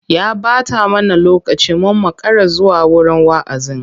Ya ɓata mana lokaci mun makara zuwa wurin wa'azin.